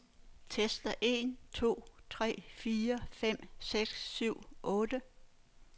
Tester en to tre fire fem seks syv otte.